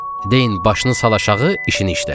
Deyin başını sal aşağı, işini işlə.